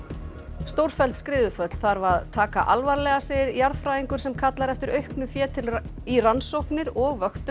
stórfelld skriðuföll þarf að taka alvarlega segir jarðfræðingur sem kallar eftir auknu fé í rannsóknir og vöktun